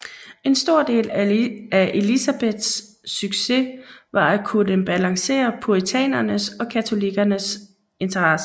En stor del af Elizabeths succes var at kunne balancere puritanernes og katolikkerne interesser